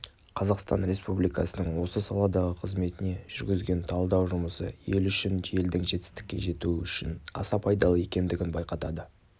қазақстан республикасының осы саладағы қызметіне жүргізген талдау жұмысы ел үшін елдің жетістікке жетуі үшін аса пайдалы екендігін байқатады